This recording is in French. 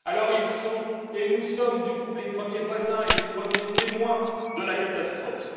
ils sont et nous sommes, par conséquent les premiers voisins et les premiers témoins de la catastrophe.